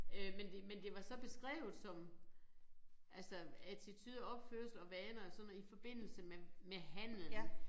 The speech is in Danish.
Øh men det men det var så beskrevet som altså attitude opførsel og vaner og sådan noget i forbindelse med med handlen